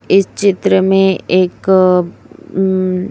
इस चित्र में एक अ ऊं--